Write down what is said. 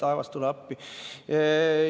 Taevas, tule appi!